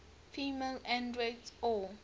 female androids or